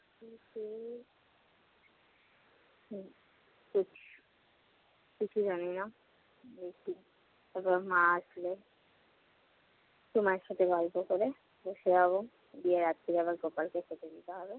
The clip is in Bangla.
কিছুই জানি না। তারপরে মা আসল। একটু মায়ের সাথে গল্প করে বসে যাবো। গিয়ে রাত্রে আবার গোপালকে খেতে দিতে হবে।